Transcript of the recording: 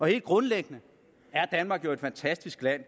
helt grundlæggende er danmark jo et fantastisk land